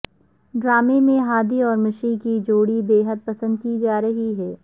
ڈرامے میں ہادی اور مشی کی جوڑی بے حد پسند کی جا رہی ہے